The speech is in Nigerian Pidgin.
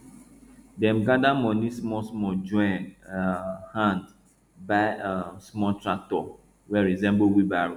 dem gather money smallsmall join um hand buy um small tractor wey resemble wheelbarrow